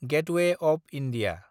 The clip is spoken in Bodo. gateway of India